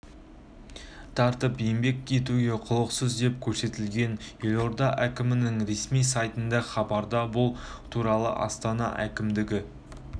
тартып еңбек етуге құлықсыз деп көрсетілген елорда әкімінің ресми сайтындағы хабарда бұл туралы астана әкімдігі